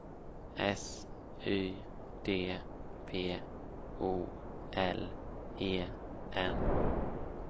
S Y D P O L E N